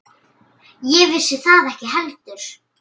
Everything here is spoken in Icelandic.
Ég vissi það ekki heldur.